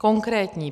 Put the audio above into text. Konkrétní.